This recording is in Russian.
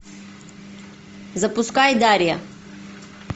запускай дарья